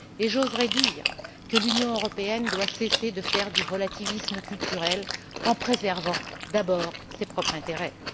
J'oserais dire que l'Union européenne doit cesser de faire du relativisme culturel en préservant d'abord ses propres intérêts.